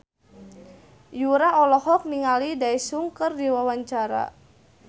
Yura olohok ningali Daesung keur diwawancara